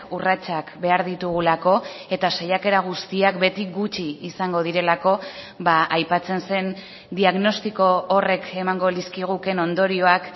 urratsak behar ditugulako eta saiakera guztiak beti gutxi izango direlako aipatzen zen diagnostiko horrek emango lizkigukeen ondorioak